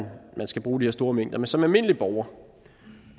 skal bruge de her store mængder men som almindelig borger